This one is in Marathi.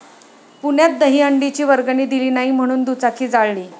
पुण्यात दहीहंडीची वर्गणी दिली नाही म्हणून दुचाकी जाळली